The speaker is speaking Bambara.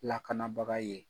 Lakanabaga ye.